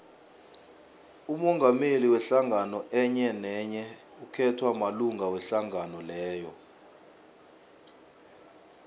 umongameli wehlangano enyenenye ukhethwa malunga wehlangano leyo